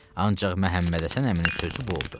Ancaq Məhəmmədhəsən əminin sözü bu oldu.